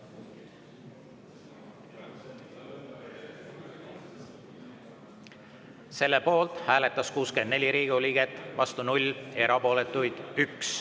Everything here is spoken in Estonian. Selle poolt hääletas 64 Riigikogu liiget, vastu 0, erapooletuid on 1.